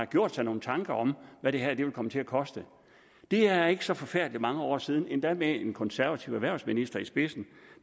gjort sig nogle tanker om hvad det her vil komme til at koste det er ikke så forfærdelig mange år siden endda med en konservativ erhvervsminister i spidsen